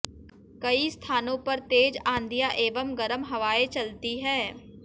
कई स्थानों पर तेज आंधियां एवं गरम हवायें चलती हैं